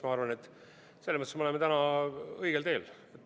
Ma arvan, et selles mõttes me oleme õigel teel.